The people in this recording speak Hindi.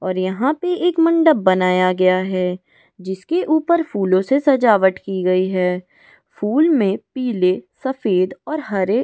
और यहां पे एक मंडप बनाया गया है जिसके ऊपर फूलों से सजावट की गई है फूल में पीले सफेद और हरे ।